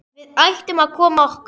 Við ættum að koma okkur.